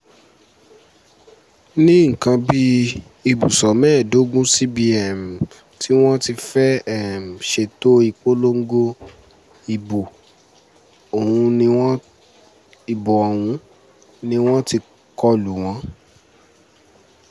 ní nǹkan bí ibùsọ̀ mẹ́ẹ̀ẹ́dógún síbi um tí wọ́n ti fẹ́ẹ́ um ṣètò ìpolongo ìbò ọ̀hún ni wọ́n ti kọlù wọ́n